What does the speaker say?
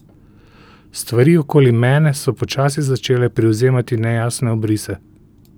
Stvari okoli mene so počasi začele privzemati nejasne obrise.